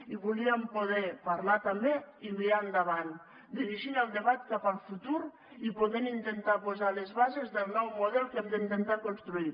i volíem poder parlar també i mirar endavant dirigint el debat cap al futur i podent intentar posar les bases del nou model que hem d’intentar construir